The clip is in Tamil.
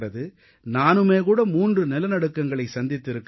நானுமே 3 நிலநடுக்கங்களை சந்தித்திருக்கிறேன்